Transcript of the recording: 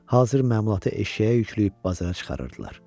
Hazır məmulatı eşşəyə yükləyib bazara çıxarırdılar.